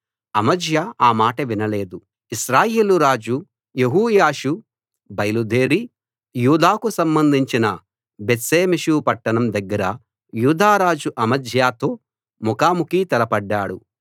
అమజ్యా ఆ మాట వినలేదు ఇశ్రాయేలు రాజు యెహోయాషు బయలుదేరి యూదాకు సంబంధించిన బేత్షెమెషు పట్టణం దగ్గర యూదా రాజు అమజ్యాతో ముఖాముఖీ తలపడ్డాడు